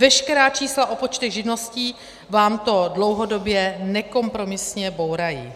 Veškerá čísla o počtech živností vám to dlouhodobě nekompromisně bourají.